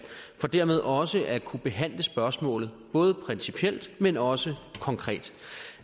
for dermed også at kunne behandle spørgsmålet både principielt men også konkret